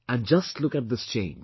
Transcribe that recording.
And just look at this change